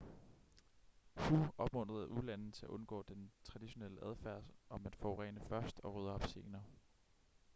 hu opmuntrede ulande til at undgå den traditionelle adfærd om at forurene først og rydde op senere